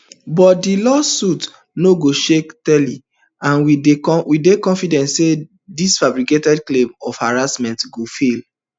but dis lawsuit no go shake tyler and we dey confident say these fabricated claims of harassment go fail